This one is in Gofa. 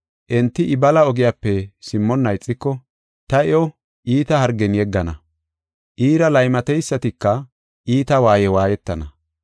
Enti I bala ogiyape simmonna ixiko, ta iyo iita hargen yeggana; iira laymateysatika iita waaye waayetana.